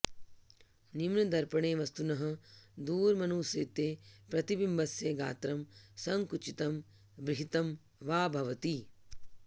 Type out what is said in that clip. निम्नदर्पणे वस्तुनः दूरमनुसृत्य प्रतिबिम्बस्य गात्रं सङ्कुचितं बृंहित्तं वा भवति